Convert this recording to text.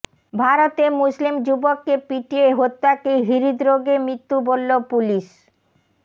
ভারতে মুসলিম যুবককে পিটিয়ে হত্যাকে হৃদ্রোগে মৃত্যু বলল পুলিশ